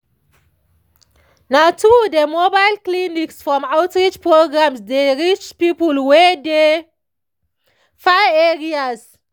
na true dem mobile clinics from outreach programs dey reach people wey dey far areas